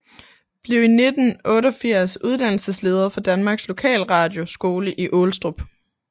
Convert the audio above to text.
Blev i 1988 uddannelsesleder for Danmarks Lokalradio Skole i Aalestrup